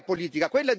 Qual è la politica?